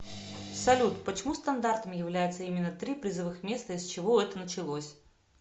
салют почему стандартом является именно три призовых места и с чего это началось